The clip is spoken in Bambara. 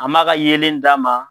A ma ka yelen d'a ma